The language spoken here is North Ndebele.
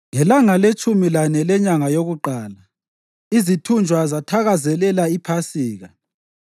Ngelanga letshumi lane lenyanga yokuqala, izithunjwa zathakazelela iPhasika.